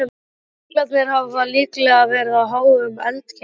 Jöklarnir hafa líklega verið á háum eldkeilum.